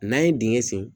N'an ye dingɛ sen